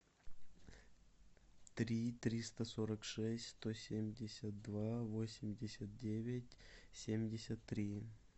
три триста сорок шесть сто семьдесят два восемьдесят девять семьдесят три